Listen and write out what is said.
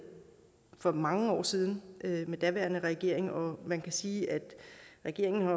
for mange år siden med den daværende regering og man kan sige at regeringen